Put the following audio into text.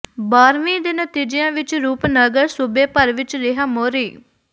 ਬਾਰਵੀਂ ਦੇ ਨਤੀਜਿਆਂ ਵਿੱਚ ਰੂਪਨਗਰ ਸੂਬੇ ਭਰ ਵਿੱਚ ਰਿਹਾ ਮੋਹਰੀ